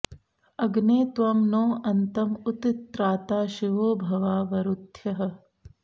अग्ने त्वं नो अन्तम उत त्राता शिवो भवा वरूथ्यः